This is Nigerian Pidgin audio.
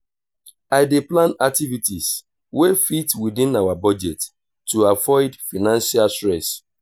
i dey plan activities wey fit within our budget to avoid financial stress.